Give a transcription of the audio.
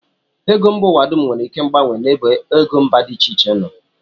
Ego mba ụwa dum nwere ike mgbanwe n'ebe ego mba dị iche iche nọ